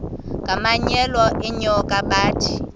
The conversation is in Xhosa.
ngamanyal enyoka bathi